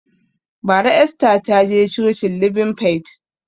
Bara Esther taje cocin libin fait